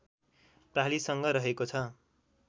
प्रालिसँग रहेको छ